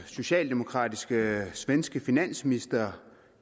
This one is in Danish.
socialdemokratiske svenske finansminister